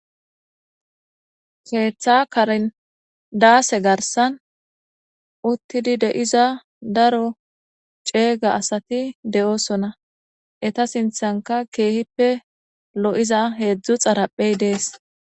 keeththa karen daase garsan uttidi de'iza daro ceega asati de'sona ,eta sinthanka keehippe lo'iza heedzdzu xaraphey dees